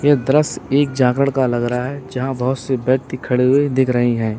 ये दृश्य एक जागरण का लग रहा है यहां बहुत से व्यक्ति खड़े हुए दिख रहे हैं।